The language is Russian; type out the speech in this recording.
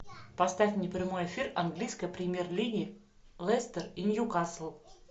поставь мне прямой эфир английской премьер лиги лестер и ньюкасл